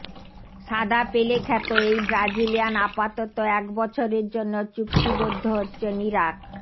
সাদাপেলে খ্যাত এই ব্রাজিলিয়ান আপাতত এক বছরের জন্য চুক্তিবদ্ধ হচ্ছেন ইরাক